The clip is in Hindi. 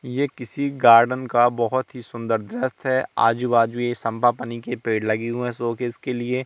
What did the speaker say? ये किसी गार्डन का बहोत ही सुंदर दृश्य है आजू बाजू ये संभाफनी की पेड़ लगी हूं शो केस के लिए--